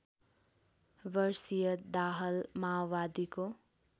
वर्षीय दाहाल माओवादीको